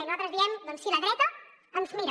i nosaltres diem doncs sí la dreta ens mira